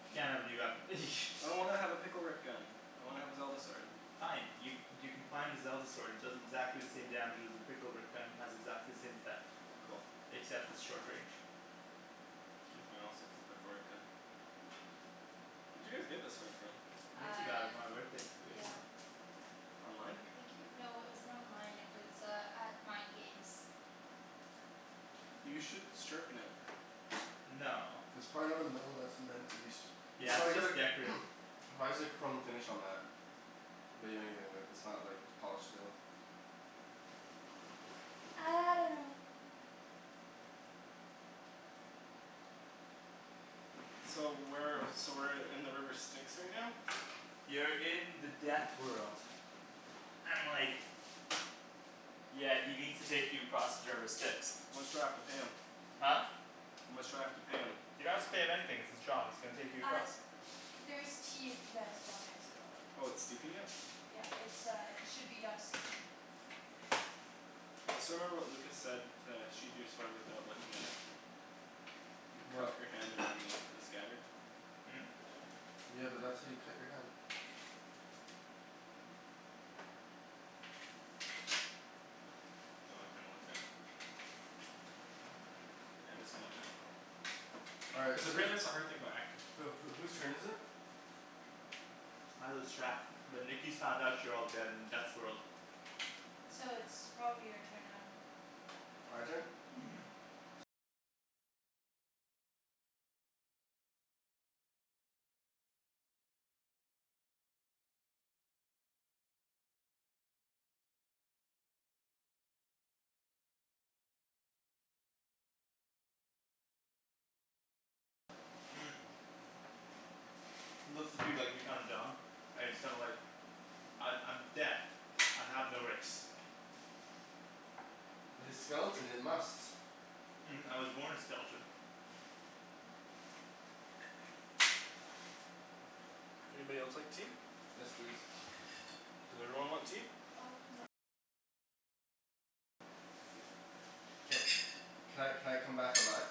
You can't have a new weapon. I don't wanna have a Pickle Rick gun. I wanna have a Zelda sword. Fine. Y- you can find a Zelda sword. It does exactly the same damage as your Pickle Rick gun, has exactly the same effect. Cool. Except it's short range. K, fine, I'll stick with the Pickle Rick gun. Where'd you guys get this sword from? Nikki got it Uh for my birthday couple years yeah. ago. Online? I think it w- no it wasn't online. It was uh at Mind Games. You should sharpen it. No. It's probably not a metal that's meant to be st- it's Yeah, probably it's got a just decorative. why is there chrome finish on that? Bet you anything that that's not like polished steel. I dunno. So where so we're in the river Styx right now? You're in the death world. And like Yeah, he needs to take you across the river Styx. How much do I have to pay him? Huh? How much do I have to pay him? Didn't have to pay him anything; it's his job. He's gonna take you Uh, across. there's tea if you guys want there as well. Oh it's steeping it? Yeah, it's uh it should be done steeping. I still remember what Lucas said to sheathe your sword without looking at it. You What? cup your hand around the the scabbard. Hmm? Yeah, but that's how you cut your hand. Oh I kinda looked that up. Yeah, that's kind of difficult. All right, Cuz so whose apparently that's a hard thing about acting. Who who whose turn is it? I lose track, but Nikki's found out you're all dead in Death's world. So it's probably your turn then. My turn? Mhm. Mhm. He looks at you like you're kinda dumb, and he's kinda like "I'm I'm Death. I have no race." But his skeleton, it must. "I was born a skeleton." Anybody else like tea? Yes, please. Does everyone want tea? Ca- can I can I come back alive?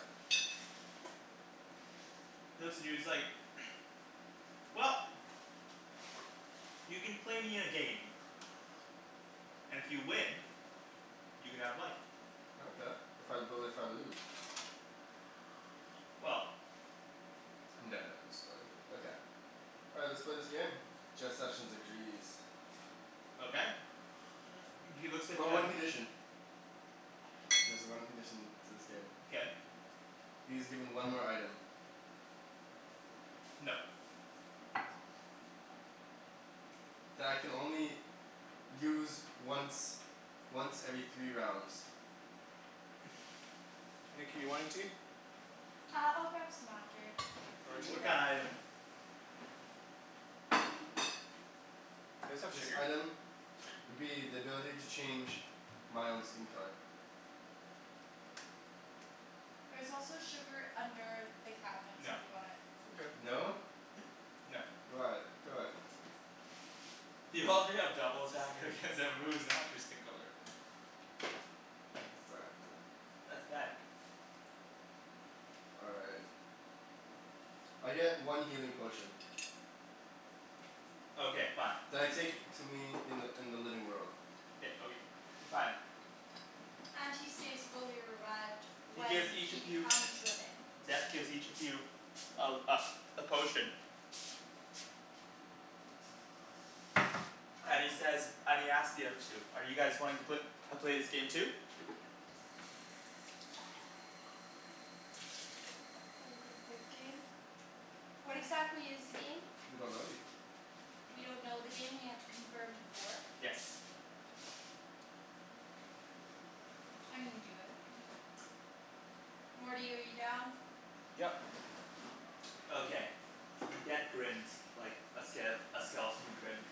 He looks at you he's like "Well, you can play me in a game, and if you win, you can have life. Okay. If I, but if I lose? Well I'm done, Daniel, I'm still good. All right, let's play this game. Jeff Sessions agrees. Okay he looks at Oh, the one condition. There's a one condition to this game. Okay He is given one more item. No. That I can only use once once every three rounds. Nikki you want any tea? Uh I'll grab some after, it's okay. Thank Arjan? you What though. kinda item? Do you guys have This sugar? item would be the ability to change my own skin color. There's also sugar under the cabinets if No. you want it. Mkay. No? No. Why? Come on. You already have double attack against everybody who's not your skin color. Exactly. That's bad. All right. I get one healing potion. Okay fine. You That I take to me in the in the living world. K okay, fine. And he stays fully erect He when gives each he of you, becomes living. Death gives each of you a uh a potion and he says, and he asks the other two: "Are you guys wanting to pla- play this game too?" Are we gonna play the game? What exactly is the game? We don't know yet. We don't know the game and we have to confirm before? Yes. I'm gonna do it. Morty, are you down? Yep. Okay. Okay. Death grins like a ske- a skeleton would grin.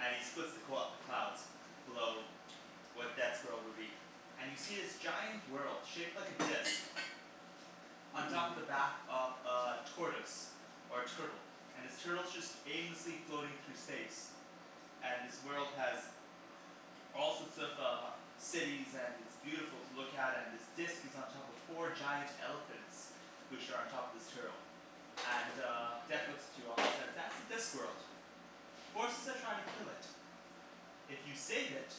And he splits the qu- the clouds below where Death's world would be, and you see this giant world shaped like a disc on top of Mmm. the back of a tortoise or a turtle, and this turtle's just aimlessly floating through space. And this world has all sorts of uh cities and it's beautiful to look at and this disc is on top of four giant elephants which are on top of this turtle. And uh Death Mkay. looks at you all and says "That's the Discworld." "Forces are trying to kill it. If you save it,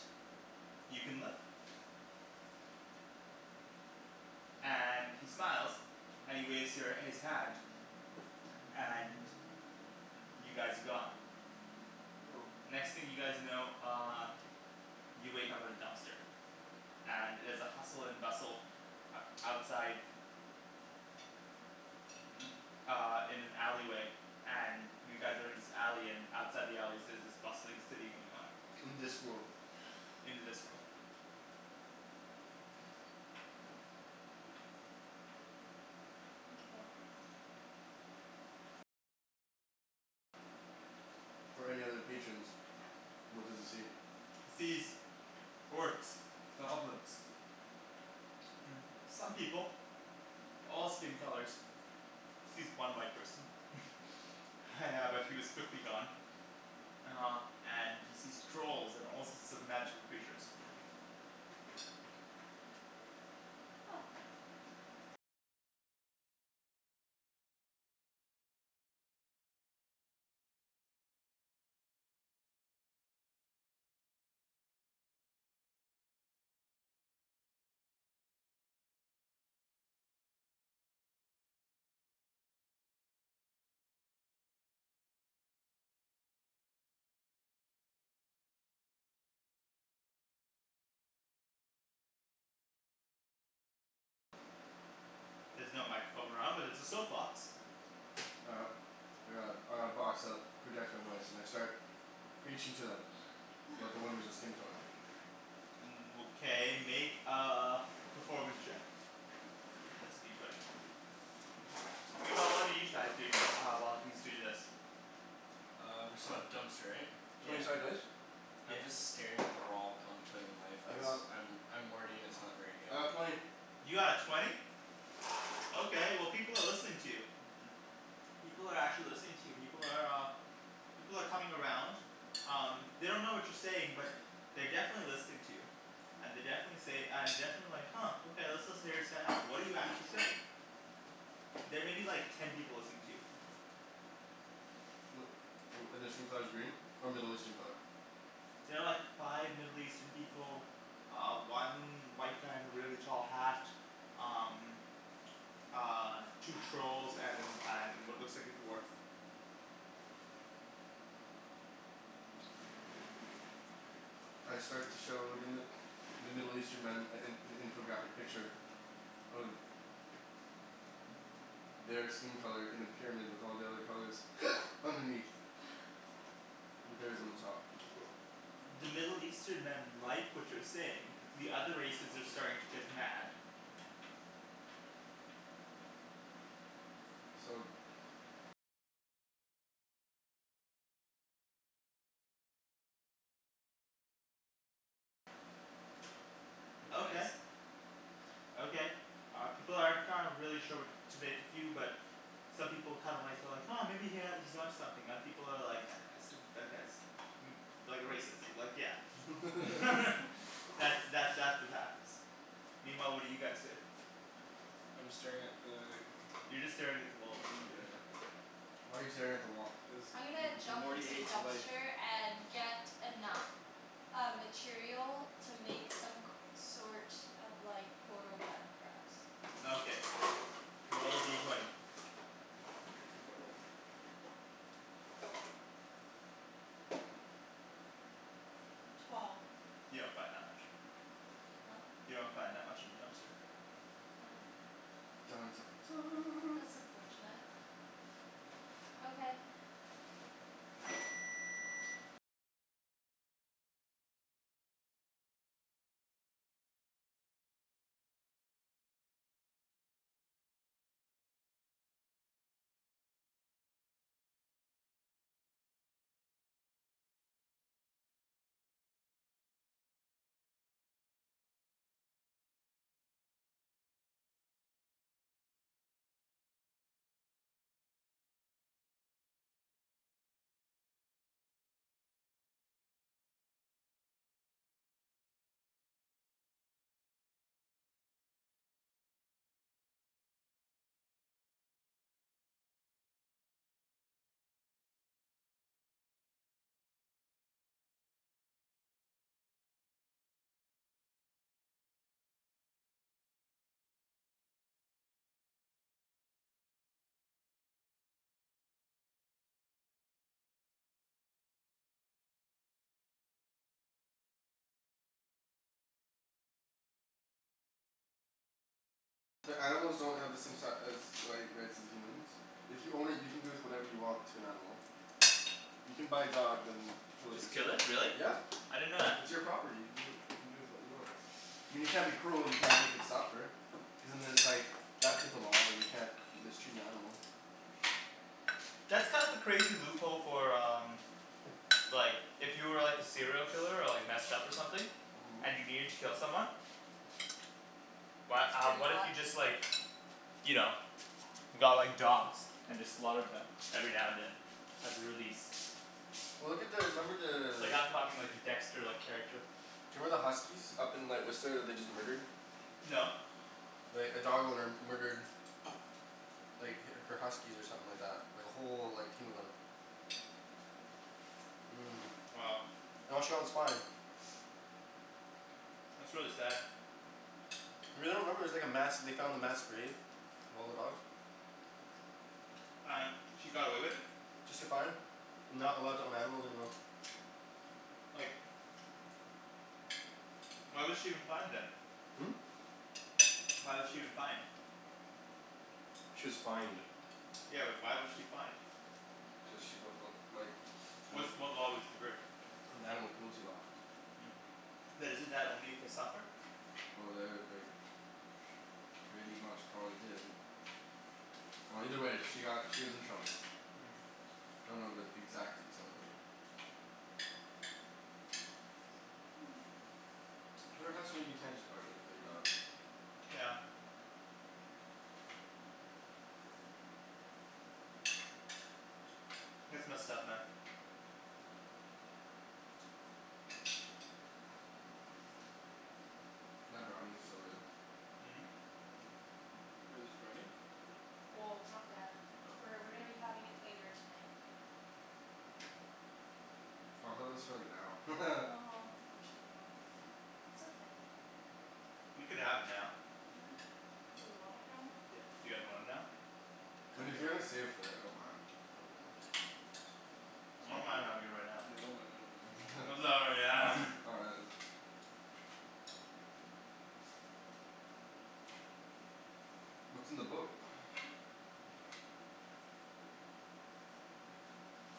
you can live." And he smiles and he waves your his hand. And y- you guys are gone. Oh. The next thing you guys know uh you wake up at a dumpster. And it is a hustle and bustle outside uh in an alley way and you guys are in this alley and outside the alleys there's this bustling city going on. In Discworld. In the Discworld. Mkay. for any other patrons. What does he see? He sees orcs, goblins some people. All skin colors. Sees one white person. Yeah but he was quickly gone. Uh and he sees trolls and all sorts of magical creatures. There's no microphone around but there's a soap box. All right. I got a I got a box that projects my voice and I start preaching to them about the wonders of skin color. Okay make a performance check. That's a D twenty. Meanwhile what are you chais doing the uh while he's doing this? Uh we're still at dumpster right? Twenty Yeah. sided dice? I'm just staring at the wall contemplating life I cuz got I'm I'm Morty and it's not very good. I got twenty. You got a twenty? Okay well, people are listening to you. People are actually listening to you. People are uh People are coming around. Um, they don't know what you're saying but they're definitely listening to you. And they definitely say and definitely like "Huh okay, let's listen hear this guy out." What do you actually say? There may be like ten people listening to you. Wh- wh- and their skin color's green? Or Middle Eastern color? There are like five Middle Eastern people. Uh one white guy in a really tall hat. Um Uh two trolls and and what looks like a dwarf. I start to show the Mi- the Middle Eastern men a an an infographic picture of their skin color in a pyramid with all the other colors underneath. With theirs on the top. The Middle Eastern men like what you're saying. The other races are starting to get mad. So Okay. Okay, uh people aren't kind of really sure what to make of you but some people kind of like well like "Huh maybe he ha- he's onto something." Other people are like "That guy's i- that guy's" "like a racist, like yeah" That's that that's what happens. Meanwhile what are you guys doing? I'm staring at the You're just staring at the wall, what are you doing? Yeah. Why are you staring at the wall? Cuz M- I'm gonna M- M- jump Morty into the hates life. dumpster and get enough uh material to make some c- sort of like portal gun for us. Okay, roll a D twenty. Twelve. You don't find that much. Huh? You don't find that much in the dumpster. Oh. Dun dun dun That's unfortunate. Okay. But animals don't have the same si- as like rights as the humans If you own it, you can do with whatever you want to an animal. You can buy a dog then kill it Just kill yourself. it? Really? Yeah. I didn't know that. It's your property. You do you can do with what you want. I mean you can't be cruel. You can't make it suffer. Cuz and then it's like that type of law. You can't mistreat an animal. That's kind of a crazy loophole for um Like if you were like a serial killer or like messed up or something and you needed to kill someone. Why It's uh pretty what if hot. you just like you know, got like dogs and just slaughtered them every now and then as a release? Well look at the, remember Like the I'm talking like a dexter-like character. Do you remember the huskies up in like Whistler that they just murdered? No. Like a dog owner murdered like h- her huskies or something like that. Like a whole like team of them. Mmm. Wow. And all she got was fined. That's really sad. You really don't remember, it was like a mass, they found a mass grave of all the dogs? And he got away with it? Just get fined. And not allowed to own animals anymore. Like Why was she even fined then? Hmm? Why was she even fined? She was fined. Yeah but why was she fined? Cuz she broke the like Which anima- what law was she breaking The animal cruelty law. But isn't that only if they suffer? Well, they like pretty much probably did. Well either way she got, she was in trouble. I don't know the exact details of it. There has to be you can't just outright kill your dog. Yeah. That's messed up man. That brownie's so good. Wait, there's brownie? Well, it's not yet. Oh. We're we're gonna be having it later tonight. Oh I thought that was for like now. Oh unfortunately not. It's okay. We could have it now. Huh? Do we want it now? Yeah, you guys want it now? Mean if Kinda. you're gonna save it for later, I don't mind. But like I S'all don't mind cool. having it right now. Yeah, I don't mind havin' it right now. All right let's What's in the book?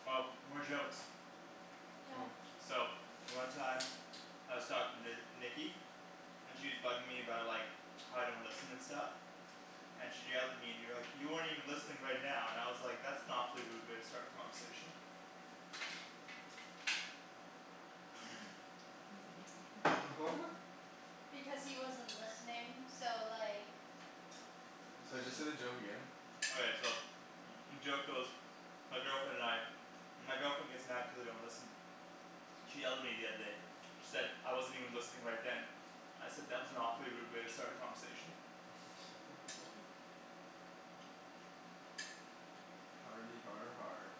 Oh, more jokes. Yeah. Oh. So one time I was talking to Nikki and she's bugging me about like how I don't listen and stuff. And she yelled at me and you're like "You aren't even listening right now" and I was like "That's an awfully rude way to start a conversation." What? Because he wasn't listening. So like Sorry, just say the joke again? Okay so joke goes My girlfriend and I, my girlfriend gets mad cuz I don't listen. She yelled at me the other day. She said I wasn't even listening right then. I said "That was an awfully rude way to start a conversation." Hardy har har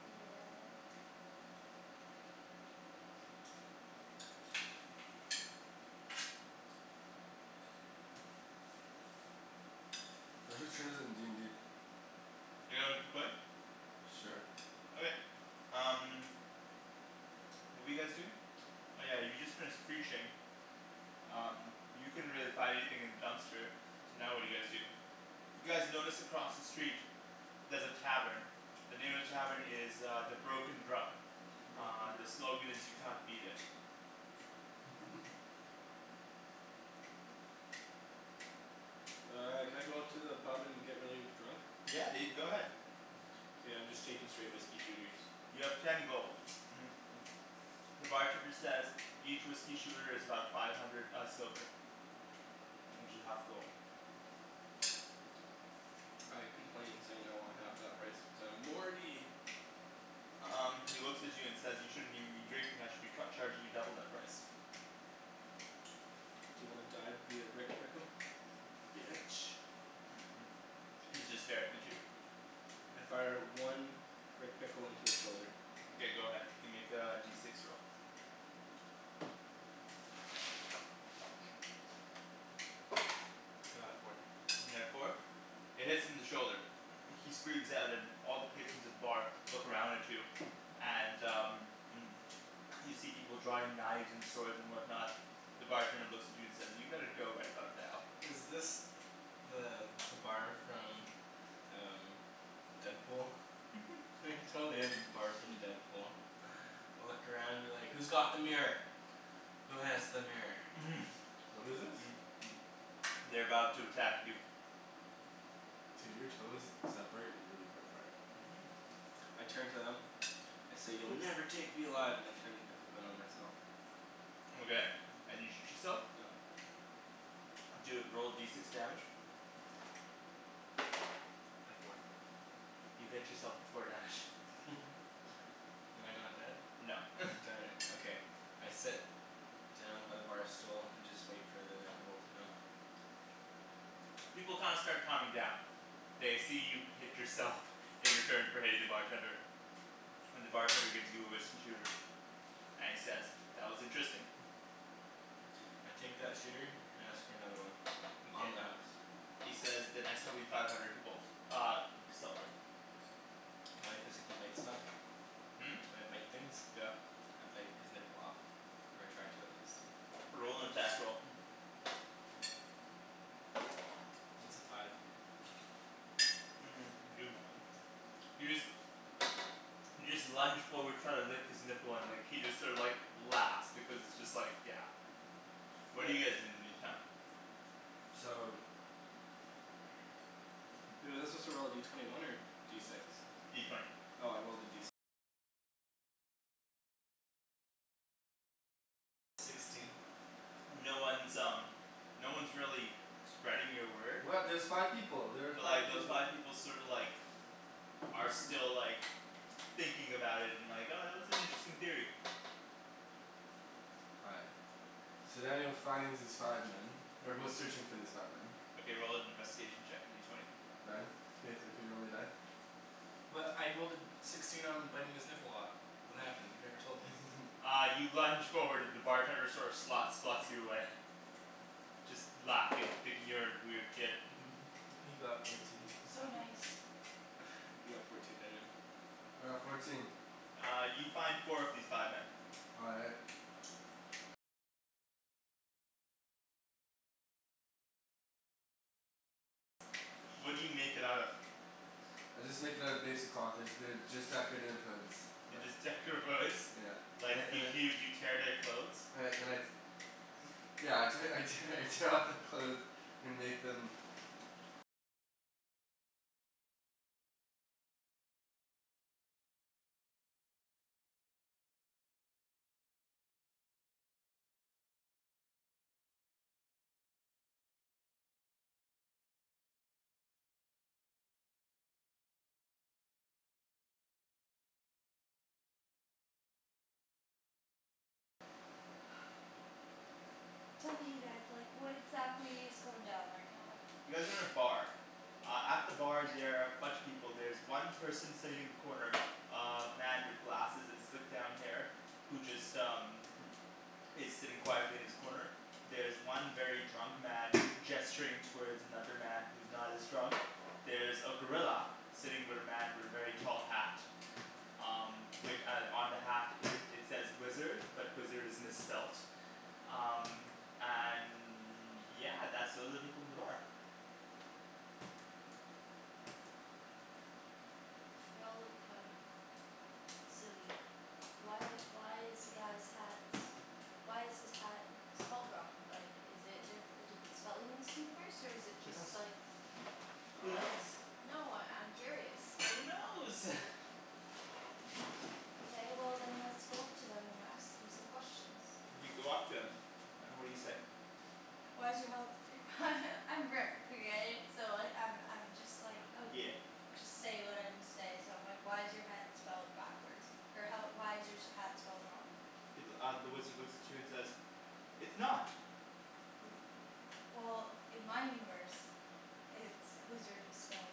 Yeah. All right, whose turn is it in d n d? You guys wanna keep playing? Sure. Okay, um What were you guys doing? Oh yeah, you just finished preaching. Um you couldn't really find anything in the dumpster. So now what do you guys do? You guys notice across the street there's a tavern. The name of the tavern is uh "The Broken Drum." Broken Uh the drill. slogan is "You can't beat it." Uh can I go into the pub and get really drunk? Yeah dude, go ahead. K, I'm just taking straight whiskey shooters. You have ten gold The bartender says "Each whiskey shooter is about five hundred uh silver. Which is half a gold. I complain saying I want half that price cuz I'm Morty! Um he looks at you and says "You shouldn't even be drinking, I should be cu- charging you double that price." D'you wanna die via Rick Pickle? Bitch. He's just staring at you. I fire one Rick Pickle into his shoulder. Mkay go ahead. You can make a D six roll. I got a four. You got a four? It hits him in the shoulder. He screams out and all the patrons at the bar look around at you and uh You see people drawing knives and swords and whatnot. The bartender looks at you and says "you better go right about now." Is this the the bar from uh Deadpool? It totally is the bar from Deadpool. Look around and be like "Who's got the mirror? Who has the mirror?" What is this? They're about to attack you. Dude, your toes separate really far apart. Mhm. I turn to them, I say "You'll never take me alive!" and I turn the pickle gun on myself. Okay, and you shoot yourself? Yep. Do a, roll D six damage. A four. You hit yourself for four damage. Am I not dead? No Darn it, okay. I sit down by the bar stool and just wait for the inevitable to come. People kinda start calming down. They see you hit yourself. In return for hitting the bartender. And the bartender gives you a whiskey shooter and he says "That was interesting" I take that shooter and ask for another one on Mkay, the house. he says "The next one will be five hundred gold uh silver." Can I physically bite stuff? Hmm? Can I bite things? Yeah. I bite his nipple off. Or I try to at least. Roll an attack roll It's a five. you you just you just lunge forward try to lick his nipple and like he just sort of like laughs because it's just like yeah What do What? you guys do in the meantime? So Was he supposed to roll a D twenty one or D six? D twenty. No one's um no one's really spreading your word. What? There's five people! There were But like five peop- those five people sorta like are still like thinking about it and like "Oh that was an interesting theory." All right. So then he'll finds these five men. Or goes Mhm. searching for these five men Okay, roll an investigation check, a D twenty. Ryan? Can you thr- can you roll me a die? Well I rolled a sixteen on biting his nipple off. What happened? You never told me. Uh you lunge forward and the bartender sort of slots slots you away. Just laughing, thinking you're a weird kid. He got fourteen So nice. You got fourteen, Daniel. All right, fourteen. Uh you find four of these five men. All right. I just make it out of basic cloth. There's they're just decorative hoods, They're like just decorative hoods? Yeah. Like I and y- I y- you tear their clothes? and I and I Yeah I te- I tear I tear off their clothes and make them Tell me you guys like what exactly is going down right now? You guys are in a bar. Uh at the bar there are a bunch of people. There's one person sitting in the corner uh man with glasses and slicked down hair who just um is sitting quietly in his corner. There's one very drunk man gesturing towards another man who's not as drunk. There's a gorilla. Sitting with a man with a very tall hat. Um wi- on the hat it says wizard, but wizard is misspelt. Um and yeah, that's all the people in the bar. They all look kind of silly. Why why is the guy's hat, why is his hat spelt wrong? Like is it di- a different spelling in this universe? Or is it Who knows? just like Who knows? No, I I'm curious. Who knows? Okay well then let's go up to them and ask them some questions. You go up to him and what do you say? Why is your health I'm Rick okay? So I I'm I'm just like oh Yeah. Just say what I need to say so I'm like "Why is your hat spelled backwards, or how why is your hat spelled wrong?" He th- uh the wizard looks at you and says "It's not!" W- Well in my universe it's, wizard is spelt